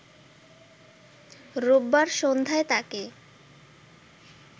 রোববার সন্ধ্যায় তাকে